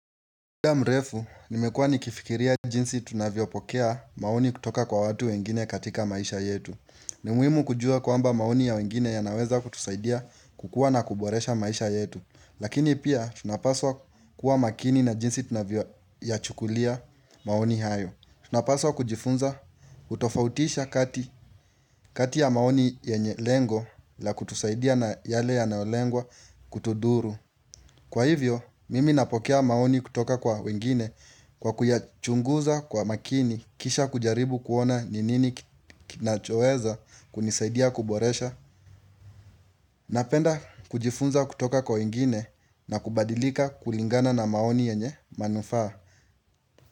Kuwa mrefu, nimekua nikifikiria jinsi tunavyopokea maoni kutoka kwa watu wengine katika maisha yetu ni muhimu kujua kwamba maoni ya wengine yanaweza kutusaidia kukua na kuboresha maisha yetu. Lakini pia tunapaswa kuwa makini na jinsi tunavyoyachukulia maoni hayo tunapaswa kujifunza kutofautisha kati ya maoni yenye lengo la kutusaidia na yale yanayolengwa kutudhuru. Kwa hivyo, mimi napokea maoni kutoka kwa wengine kwa kuyachunguza kwa makini kisha kujaribu kuona ni nini kinachoweza kunisaidia kuboresha. Napenda kujifunza kutoka kwa wengine na kubadilika kulingana na maoni yenye manufaa.